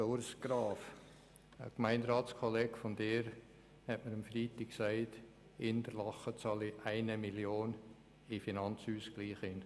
Lieber Grossrat Graf, ein Gemeinderatskollege von Ihnen sagte mir am Freitag, Interlaken zahle 1 Mio. Franken in den Finanzausgleich ein.